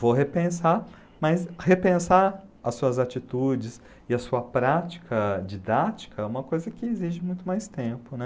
Vou repensar, mas repensar as suas atitudes e a sua prática didática é uma coisa que exige muito mais tempo, né?